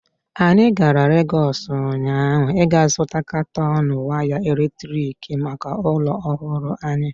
Anyị gara Legọs ụnyaahụ ịga zụta katọn waya eletrik maka ụlọ ọhụrụ anyị.